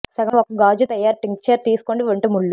సగం ఒక గాజు తయారు టింక్చర్ తీసుకోండి ఒంటె ముల్లు